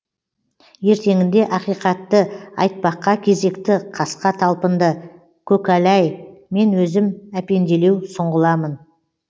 ертеңінде ақиқатты айтпаққа кезекті қасқа талпынды көкәләй мен өзім әпенделеу сұңғыламын